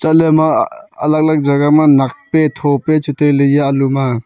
chatley ema alag alag jaga ma nak pe tho peh chu tai ley eya alu ma.